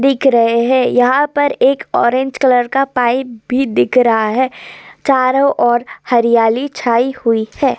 दिख रहे हैं यहाँ पर एक ऑरेंज कलर का पाइप भी दिख रहा है । चारों ओर हरियाली छाई हुई है।